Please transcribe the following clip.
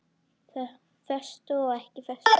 Föstu og ekki föstu.